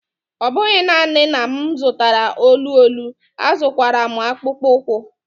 Ọ bụghị nanị na m zụtara olu olu, azụrụkwara m akpụkpọ ụkwụ.